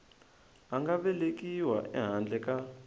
a nga velekiwa ehandle ka